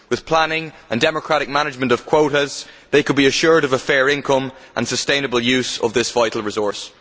With planning and democratic management of quotas, they could be assured of a fair income and sustainable use of this vital resource.